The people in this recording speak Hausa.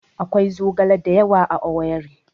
Akwai zogala da yawa a Owerri